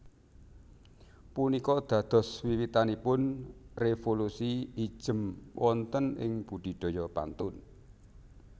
Punika dados wiwitanipun révolusi ijem wonten ing budidaya pantun